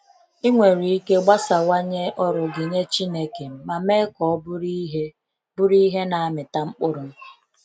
Ị̀nwere ike ịgbasawanye ọrụ gị nye Chineke ma mee ka ọ bụrụ ihe bụrụ ihe na amịta mkpụrụ?